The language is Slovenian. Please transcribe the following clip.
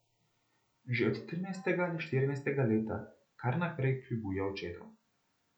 Že od trinajstega ali štirinajstega leta kar naprej kljubuje očetu.